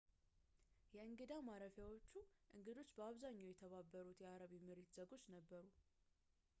የእንግዳ ማረፊያዎቹ እንግዶች በአብዛኛው የተባበሩት የአረብ ኤምሬት ዜጎች ነበሩ